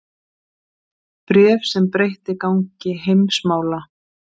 Bréf sem breytti gangi heimsmála